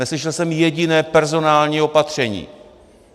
Neslyšel jsem jediné personální opatření.